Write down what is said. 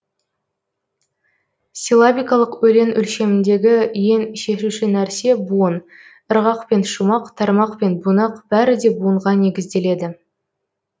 силлабикалық өлең өлшеміндегі ең шешуші нәрсе буын ырғақ пен шумақ тармақ пен бунақ бәрі де буынға негізделеді